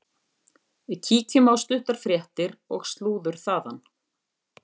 Að öðru leyti er ólöglegt að dreifa henni.